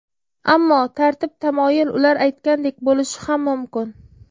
Ammo tartib-tamoyil ular aytgandek bo‘lishi ham mumkin.